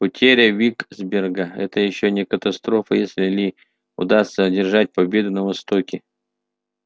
потеря виксберга это ещё не катастрофа если ли удастся одержать победу на востоке